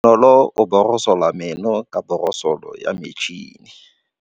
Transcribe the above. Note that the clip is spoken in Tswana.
Bonolô o borosola meno ka borosolo ya motšhine.